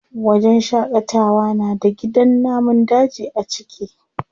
Wajen shaƙatawa na da gidan namun daji a ciki.